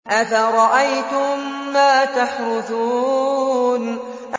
أَفَرَأَيْتُم مَّا تَحْرُثُونَ